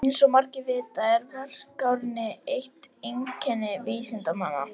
Eins og margir vita er varkárni eitt einkenni vísindanna.